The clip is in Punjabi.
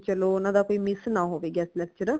ਬੀ ਚਲੋ ਓਨਾ ਦਾ ਵੀ ਕੋਈ ਮਿਸ ਨਾ ਹੋਏ guest lecture